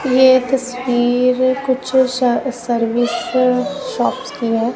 ये तस्वीर कुछ श सर्विस शॉप्स की हैं।